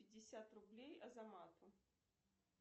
пятьдесят рублей азамату